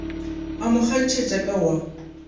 a mo kgantšhetša ka wa